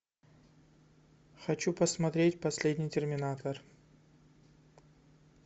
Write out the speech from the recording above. хочу посмотреть последний терминатор